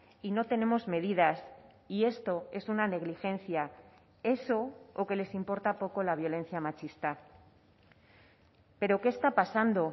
y no tenemos medidas y esto es una negligencia eso o que les importa poco la violencia machista pero qué está pasando